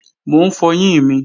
Mò ń fọyín mi